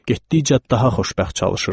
Getdikcə daha xoşbəxt çalışırdı.